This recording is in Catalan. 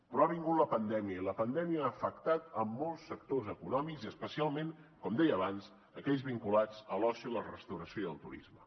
però ha vingut la pandèmia i la pandèmia ha afectat molts sectors econòmics i especialment com deia abans aquells vinculats a l’oci la restauració i el turisme